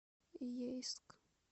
ейск